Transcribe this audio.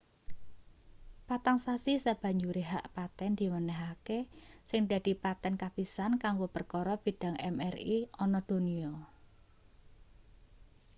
patang sasi sabanjure hak paten diwenehake sing dadi paten kapisan kanggo perkara bidang mri ana donya